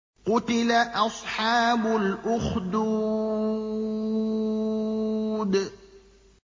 قُتِلَ أَصْحَابُ الْأُخْدُودِ